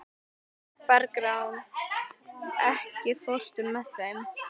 Bergrán, ekki fórstu með þeim?